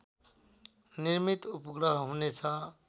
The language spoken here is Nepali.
निर्मित उपग्रह हुनेछ